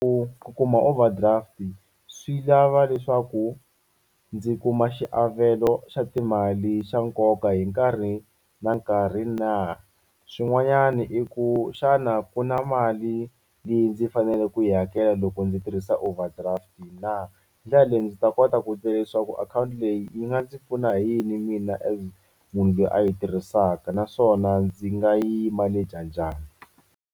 U ku kuma overdraft swi lava leswaku ndzi kuma xiavelo xa timali xa nkoka hi nkarhi na nkarhi na. Xin'wanyana i ku xana ku na mali leyi ndzi fanele ku yi hakela loko ndzi tirhisa overdraft na. Hi ndlela leyi ndzi ta kota ku tiva leswaku akhawunti leyi yi nga ndzi pfuna hi yini mina as munhu loyi a yi tirhisaka naswona ndzi nga yi manage-a njhani.